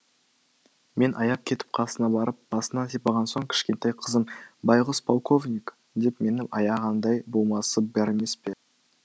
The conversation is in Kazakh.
мен аяп кетіп қасына барып басынан сипаған соң кішкентай қызым байғұс полковник деп мені аяғандай болмасы бар емес пе